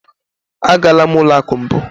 Agala m ụlọ akụ mbụ.